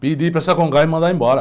Pedi para me mandar embora.